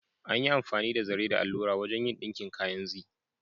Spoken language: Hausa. An yi amfani da zare da allura wajen yin ɗinkin kayan Zee.